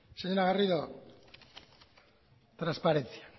señora garrido transparencia